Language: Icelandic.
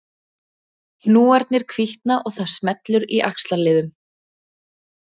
Hnúarnir hvítna og það smellur í axlarliðum